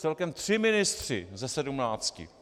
Celkem tři ministři ze sedmnácti.